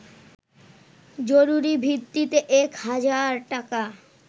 জরুরি ভিত্তিতে এক হাজার টাকা